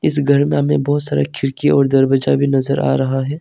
इस घर में बहुत सारे खिड़की और दरवाजा भी नजर आ रहा है।